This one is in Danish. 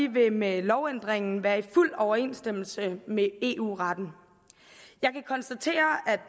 vil med lovændringen være i fuld overensstemmelse med eu retten jeg kan konstatere